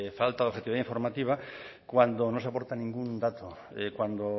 faltas de objetividad informativa cuando no se aportan ningún dato cuando